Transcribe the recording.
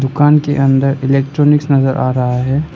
दुकान के अंदर इलेक्ट्रॉनिक्स नजर आ रहा है।